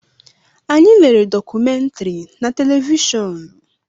Anyị lere dọkumentiri na televishọọnu.